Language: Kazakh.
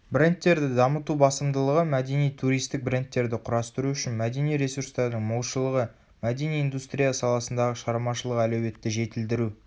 брендтерді дамыту басымдылығы мәдени туристік брендтерді құрастыру үшін мәдени ресурстардың молшылығы мәдени индустрия саласындағы шығармашылық әлеуетті жетілдіру